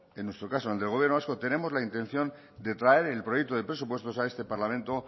en nuestro caso en el gobierno vasco tenemos la intención de traer el proyecto de presupuestos a este parlamento